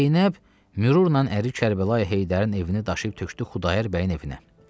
Zeynəb mürurla əri Kərbəlayı Heydərin evini daşıyıb tökdü Xudayar bəyin evinə.